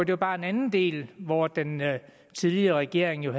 det bare en anden del af hvor den tidligere regering jo